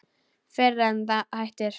Fyrr en það hættir.